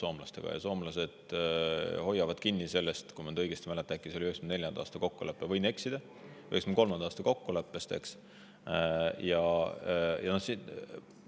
Soomlased hoiavad kinni sellest kokkuleppest, mis on pärit, kui ma õigesti mäletan, äkki 1994. aastast, aga võin eksida, võib-olla ka 1993. aastast.